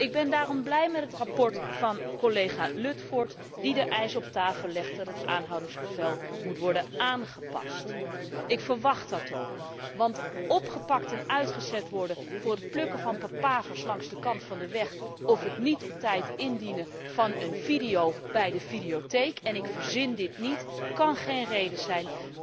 Ik ben daarom blij met het verslag van collega Ludford die de eis op tafel legt dat het aanhoudingsbevel moet worden aangepast. Ik verwacht dat ook. Want opgepakt en uitgezet worden voor het plukken van papavers langs de kant van de weg of het niet op tijd indienen van een video bij de videotheek en ik verzin dit niet kan geen reden zijn.